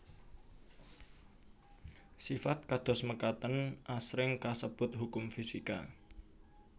Sifat kados mekaten asring kasebut hukum fisika